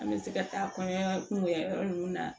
An bɛ se ka taa kɔɲɔ kun kɛ yɔrɔ ninnu na